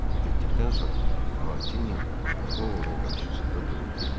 O getdikdən sonra Martini Ovodun qarşısında durub dedi: